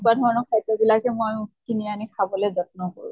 তেনেকুৱা ধৰণৰ খাদ্য় বিলাকে মই কিনি আনি খাবলৈ যত্ন কৰোঁ।